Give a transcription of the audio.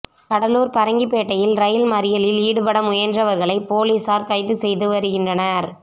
கடலூர் பரங்கிப்பேட்டையில் ரயில் மறியலில் ஈடுபட முயன்றவர்களை போலீசார் கைதுசெய்து வருகின்றனர்